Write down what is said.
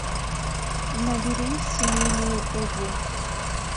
набери семейные узы